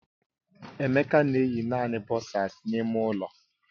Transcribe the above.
Emeka na eyi naanị bọsas n'ime ụlọ